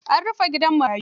An rufe gidan marayun.